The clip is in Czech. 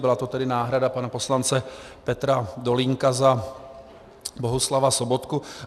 Byla to tedy náhrada pana poslance Petra Dolínka za Bohuslava Sobotku.